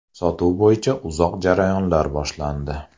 Sotuv bo‘yicha uzoq jarayonlar boshlandi.